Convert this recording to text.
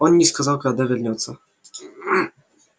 он не сказал когда вернётся